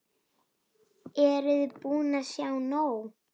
Eruði búin að sjá nóg?